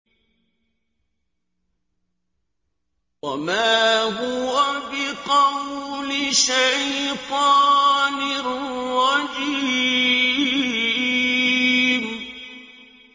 وَمَا هُوَ بِقَوْلِ شَيْطَانٍ رَّجِيمٍ